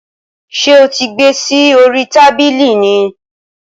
Ṣé o ti gbé e sí orí tábìlì ni?